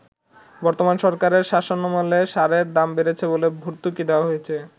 “বর্তমান সরকারের শাসনামলে সারের দাম বেড়েছে বলে ভর্তুকি দেয়া হয়েছে।